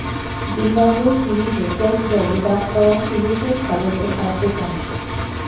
Zimbabwe সিরিজে test দলে ডাক পাওয়া সিলেটের খালেদের আদ্যোপান্ত